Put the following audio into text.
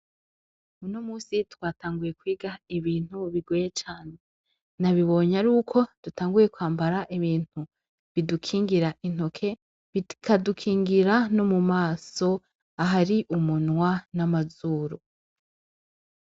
Uno munsi, twatanguye kwiga ibintu bigoye cane; nabibonye aruko dutanguye kwambara ibintu bidukingira intoke, bikadukingira no mu maso, ahari umunwa n'amazuru.